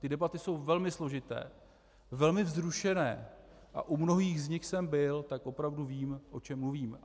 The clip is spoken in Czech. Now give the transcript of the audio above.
Ty debaty jsou velmi složité, velmi vzrušené a u mnohých z nich jsem byl, tak opravdu vím, o čem mluvím.